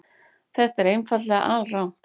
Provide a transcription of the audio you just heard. Þetta er einfaldlega alrangt.